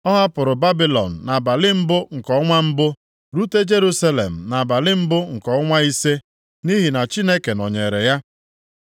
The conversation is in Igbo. Ọ hapụrụ Babilọn nʼabalị mbụ nke ọnwa mbụ, rute Jerusalem nʼabalị mbụ nke ọnwa ise nʼihi na Chineke nọnyeere ya.